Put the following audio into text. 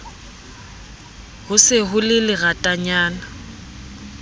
ho se ho le leratanyana